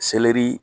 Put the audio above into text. Selɛri